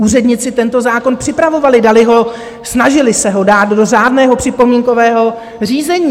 Úředníci tento zákon připravovali, dali ho, snažili se ho dát, do řádného připomínkového řízení.